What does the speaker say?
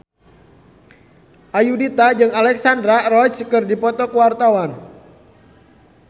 Ayudhita jeung Alexandra Roach keur dipoto ku wartawan